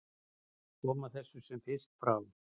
Koma þessu sem fyrst frá.